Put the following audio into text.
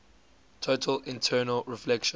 total internal reflection